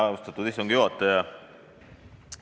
Austatud istungi juhataja!